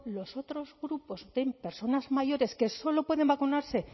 los otros grupos en personas mayores que solo pueden vacunarse